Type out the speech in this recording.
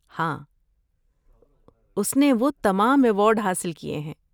ہاں، اس نے وہ تمام ایوارڈ حاصل کیے ہیں۔